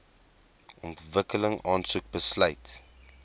ontwikkeling aansoek besluit